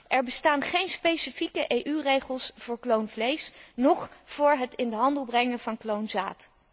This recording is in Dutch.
Er bestaan geen specifieke EU regels voor kloonvlees, noch voor het in de handel brengen van kloonzaad.